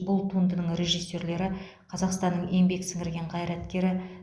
бұл туындың режиссері қазақстанның еңбек сіңірген қайраткері